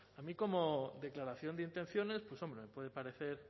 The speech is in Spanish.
a mí como declaración de intenciones pues hombre me puede parecer